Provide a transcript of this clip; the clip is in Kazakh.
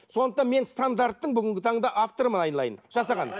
сондықтан мен стандарттың бүгінгі таңда авторымын айналайын жасаған